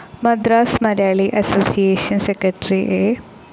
Madras Malayali association secretary A.